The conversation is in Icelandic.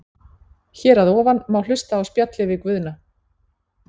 Hér að ofan má hlusta á spjallið við Guðna.